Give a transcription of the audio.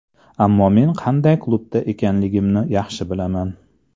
Ammo men qanday klubda ekanligimni yaxshi bilaman.